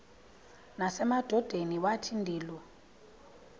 nasemadodeni wathi ndilu